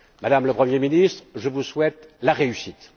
Madame la Première ministre, je vous souhaite la réussite!